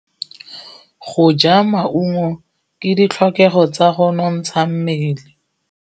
Go ja maungo ke ditlhokegô tsa go nontsha mmele.